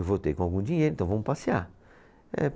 Eu voltei com algum dinheiro, então vamos passear. É